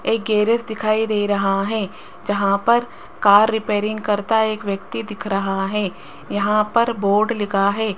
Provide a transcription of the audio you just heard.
एक गैरेज दिखाई दे रहा है जहां पर कार रिपेयरिंग करता एक व्यक्ति दिख रहा है यहां पर बोर्ड लिखा है।